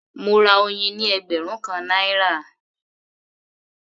Mo ra oyin ní ẹgbẹ̀rún kan náírà